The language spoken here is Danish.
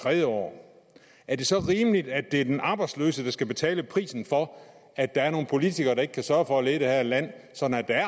tredje år er det så rimeligt at det er den arbejdsløse der skal betale prisen for at der er nogle politikere der ikke kan sørge for at lede det her land sådan at